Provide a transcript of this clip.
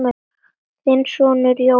Þinn sonur Jóhann.